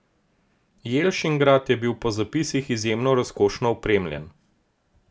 Jelšingrad je bil po zapisih izjemno razkošno opremljen.